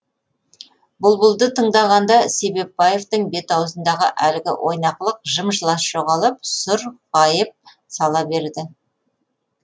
бұлбұлды тыңдағанда себепбаевтың бет аузындағы әлгі ойнақылық жым жылас жоғалып сұр ғайып сала береді